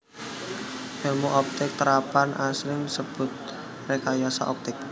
Èlmu optik terapan asring disebut rékayasa optik